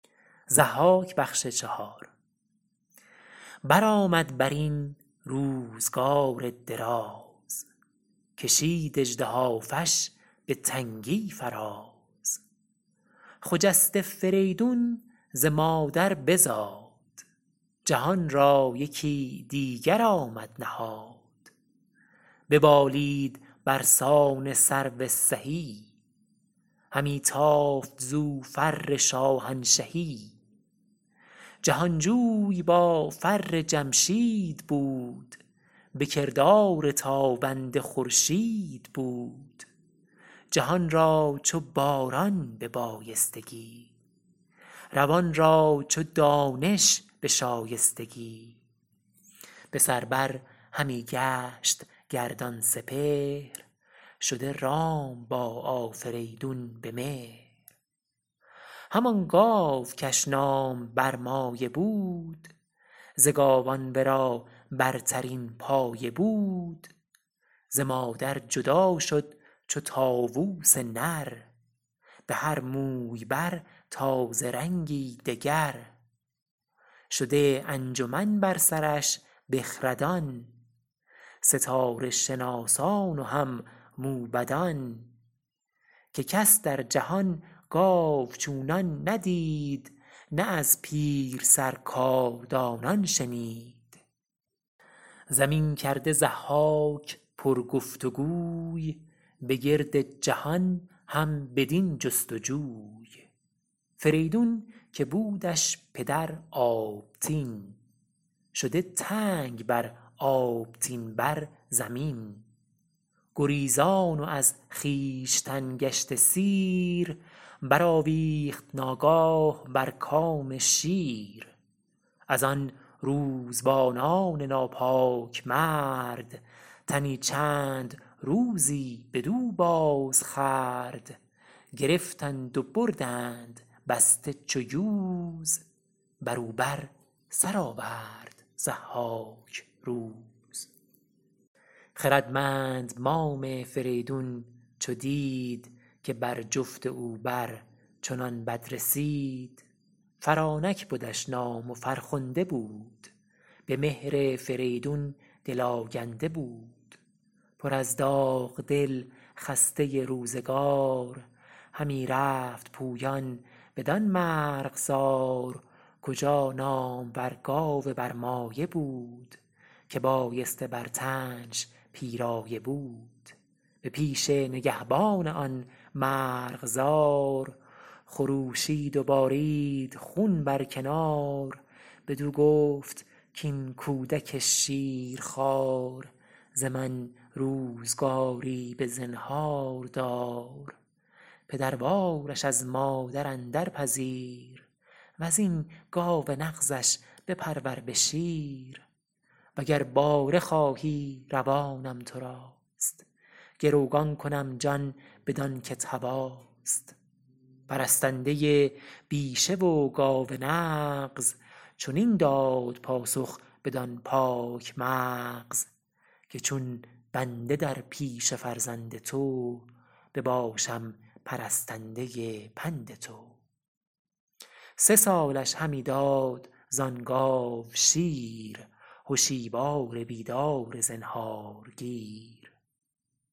برآمد برین روزگار دراز کشید اژدهافش به تنگی فراز خجسته فریدون ز مادر بزاد جهان را یکی دیگر آمد نهاد ببالید برسان سرو سهی همی تافت زو فر شاهنشهی جهانجوی با فر جمشید بود به کردار تابنده خورشید بود جهان را چو باران به بایستگی روان را چو دانش به شایستگی بسر بر همی گشت گردان سپهر شده رام با آفریدون به مهر همان گاو کش نام برمایه بود ز گاوان ورا برترین پایه بود ز مادر جدا شد چو طاووس نر بهر موی بر تازه رنگی دگر شده انجمن بر سرش بخردان ستاره شناسان و هم موبدان که کس در جهان گاو چونان ندید نه از پیرسر کاردانان شنید زمین کرده ضحاک پر گفت و گوی به گرد جهان هم بدین جست و جوی فریدون که بودش پدر آبتین شده تنگ بر آبتین بر زمین گریزان و از خویشتن گشته سیر برآویخت ناگاه بر کام شیر از آن روزبانان ناپاک مرد تنی چند روزی بدو باز خورد گرفتند و بردند بسته چو یوز برو بر سر آورد ضحاک روز خردمند مام فریدون چو دید که بر جفت او بر چنان بد رسید فرانک بدش نام و فرخنده بود به مهر فریدون دل آگنده بود پر از داغ دل خسته روزگار همی رفت پویان بدان مرغزار کجا نامور گاو برمایه بود که بایسته بر تنش پیرایه بود به پیش نگهبان آن مرغزار خروشید و بارید خون بر کنار بدو گفت کاین کودک شیرخوار ز من روزگاری بزنهار دار پدروارش از مادر اندر پذیر وزین گاو نغزش بپرور به شیر و گر باره خواهی روانم تراست گروگان کنم جان بدان کت هواست پرستنده بیشه و گاو نغز چنین داد پاسخ بدان پاک مغز که چون بنده در پیش فرزند تو بباشم پرستنده پند تو سه سالش همی داد زان گاو شیر هشیوار بیدار زنهارگیر